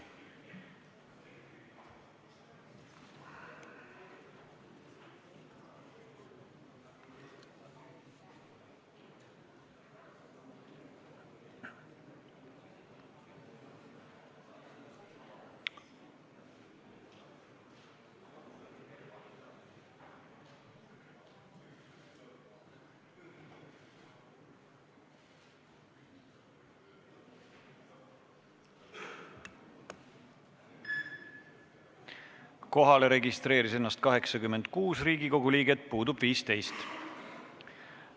Kohaloleku kontroll Kohalolijaks registreeris ennast 86 Riigikogu liiget, puudub 15.